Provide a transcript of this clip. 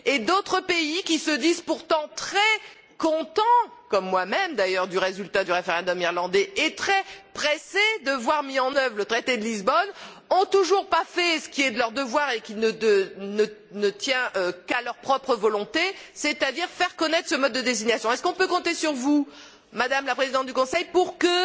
D'autres pays, qui se disent pourtant très contents comme moi même d'ailleurs du résultat du référendum irlandais et très pressés de voir mis en œuvre le traité de Lisbonne, n'ont toujours pas fait ce qui est de leur devoir et qui ne tient qu'à leur propre volonté, c'est à dire faire connaître ce mode de désignation. Pouvons nous compter sur vous, Madame la Présidente du Conseil, pour que,